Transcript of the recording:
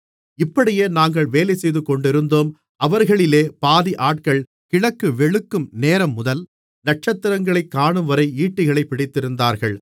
இப்படியே நாங்கள் வேலைசெய்துகொண்டிருந்தோம் அவர்களிலே பாதி ஆட்கள் கிழக்கு வெளுக்கும் நேரம்முதல் நட்சத்திரங்களை காணும்வரை ஈட்டிகளைப் பிடித்திருந்தார்கள்